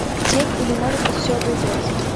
тень или может быть все обойдется